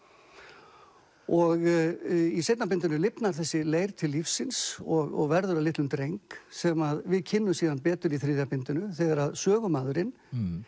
og í seinna bindinu lifnar þessi leir til lífsins og verður að litlum dreng sem við kynnumst síðan betur í þriðja bindinu þegar að sögumaðurinn